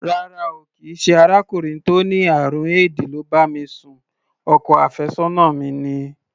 Rárá o, kì í ṣe arákùnrin tó ní àrùn éèdì ló bá mi sùn o, ọkọ àfẹ́sọ́nà mi ni.